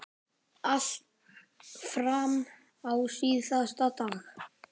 Allt fram á síðasta dag.